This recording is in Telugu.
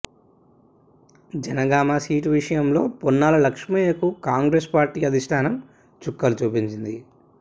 జనగామ సీటు విషయంలో పొన్నాల లక్ష్మయ్యకు కాంగ్రెస్ పార్టీ అధిష్టానం చుక్కలు చూపించింది